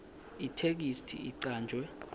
itheksthi icanjwe